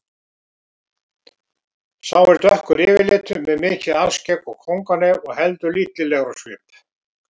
Sá er dökkur yfirlitum með mikið alskegg og kónganef og heldur illilegur á svip.